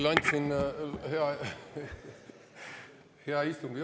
Hea istungi juhataja!